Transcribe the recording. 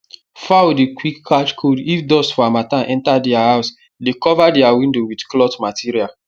fowl dey quick catch cold if dust for harmattan enter their house dey cover their window with cloth material